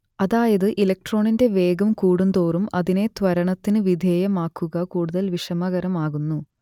അതായത് ഇലക്ട്രോണിന്റെ വേഗം കൂടുതോറും അതിനെ ത്വരണത്തിന് വിധേയമാക്കുക കൂടുതൽ വിഷമകരമാകുന്നു